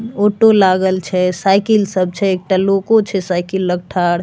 auto लागल छै cycle लागल छै एकटा लोको छै साइकिल लग ठाड़ --